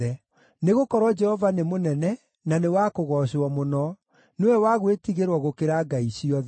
Nĩgũkorwo Jehova nĩ mũnene, na nĩ wa kũgoocwo mũno; nĩwe wa gwĩtigĩrwo gũkĩra ngai ciothe.